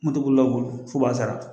Moto bolila bolo f'u b'a sara.